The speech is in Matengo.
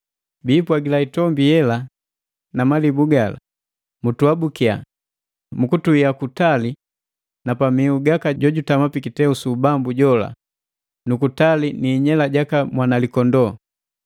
Biipwagila itombi yela na malibu gala, “Mutuabukia, mu kutuia kutali na pamihu gaka jo jutama pi kiteu su ubambu jola, nu kutali ni inyela jaka Mwanalikondoo!